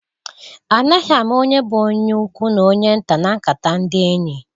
Anaghị ama onye bụ onye ukwu n'onye nta na nkata ndị enyị.